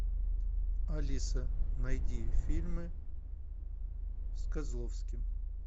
алиса найди фильмы с козловским